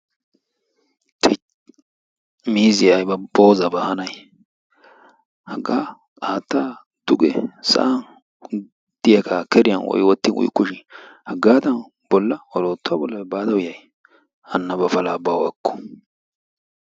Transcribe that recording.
Tuyi! miizziya ayba boozabaa hanay hagaa haattaa duge sa'an diyaga keriyan woy wottin uyukku shin hagaadan bolla oroottuwa bolla baada uyay hanna ba palaa bawu ekku!